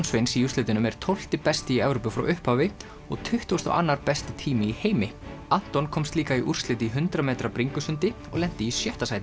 Sveins í úrslitunum er tólfti besti í Evrópu frá upphafi og tuttugasti og annar besti tími í heimi Anton komst líka í úrslit í hundrað metra bringusundi og lenti í sjötta sæti